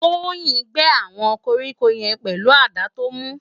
Toyin n gé áwòn kórikó yèn pèlú àdá tó mú